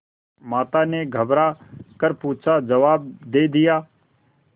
माता ने घबरा कर पूछाजवाब दे दिया